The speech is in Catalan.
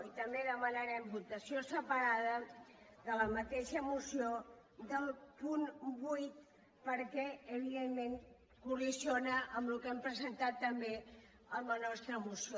i també demanarem votació separada en la mateixa moció del punt vuit perquè evidentment col·lideix amb el que hem presentat també en la nostra moció